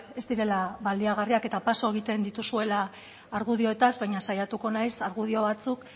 ez direla baliagarriak eta paso egiten dituzuela argudioetaz baina saiatuko naiz argudio batzuk